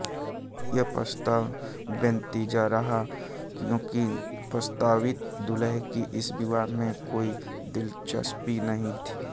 यह प्रस्ताव बेनतीजा रहा क्यूंकि प्रस्तावित दुल्हे की इस विवाह में कोई दिलचस्पी नहीं थी